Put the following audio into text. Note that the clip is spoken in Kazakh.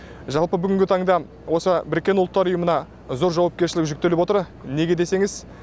жалпы бүгінгі таңда осы біріккен ұлттар ұйымына зор жауапкершілік жүктеліп отыр неге десеңіз